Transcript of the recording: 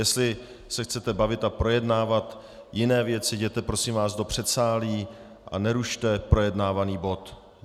Jestli se chcete bavit a projednávat jiné věci, jděte prosím vás do předsálí a nerušte projednávaný bod.